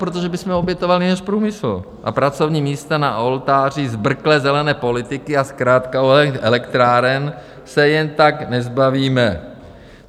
Protože bychom obětovali náš průmysl a pracovní místa na oltáři zbrklé zelené politiky, a zkrátka, elektráren se jen tak nezbavíme.